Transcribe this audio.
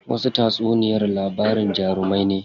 Wasu tatsuniyar labarin jarumai ne.